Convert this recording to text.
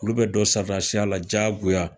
Olu bɛ don sɔridasiya la diyagoya